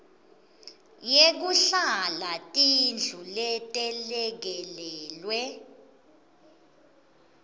yekuhlala tindlu letelekelelwe